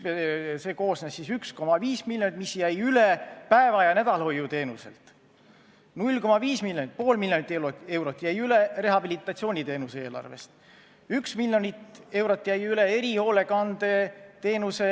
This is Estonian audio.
See jaotus selliselt: 1,5 miljonit, mis jäi üle päeva- ja nädalahoiu teenuselt; 0,5 ehk pool miljonit eurot, mis jäi üle rehabilitatsiooniteenuse eelarvest; 1 miljon eurot jäi üle erihoolekandeteenuse